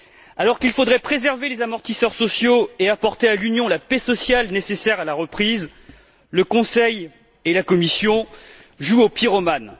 Alors qu'il faudrait préserver les amortisseurs sociaux et apporter à l'Union la paix sociale nécessaire à la reprise, le Conseil et la Commission jouent au pyromane.